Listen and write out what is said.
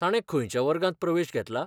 ताणें खंयच्या वर्गांत प्रवेश घेतला?